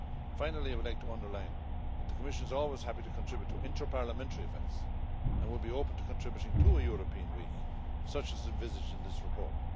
Finally, I would like to underline that the Commission is always happy to contribute to inter parliamentary events and will be open to contributing to a European week such as is envisaged in this report.